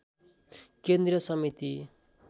केन्द्रीय समिति